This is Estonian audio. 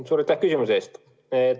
Suur aitäh küsimuse eest!